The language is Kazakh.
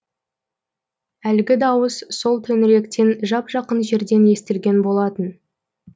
әлгі дауыс сол төңіректен жап жақын жерден естілген болатын